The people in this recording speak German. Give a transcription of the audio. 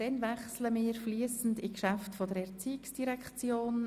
Damit wechseln wir zu den Geschäften der Erziehungsdirektion.